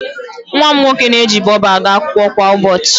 Nwa m nwoke na-eji Bobo aga akwụkwọ kwa ụbọchị.